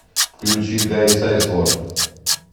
включи гай сайсворт